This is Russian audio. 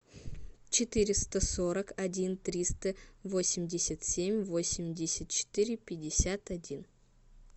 четыреста сорок один триста восемьдесят семь восемьдесят четыре пятьдесят один